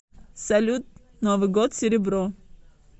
салют новый год серебро